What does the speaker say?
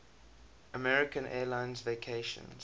american airlines vacations